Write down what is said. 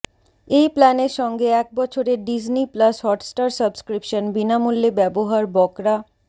এই প্ল্যানের সঙ্গে এক বছরের ডিজনি প্লাস হটস্টার সাবস্ক্রিপশন বিনামূল্যে ব্যবহার বকরা